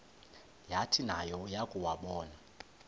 yathi nayo yakuwabona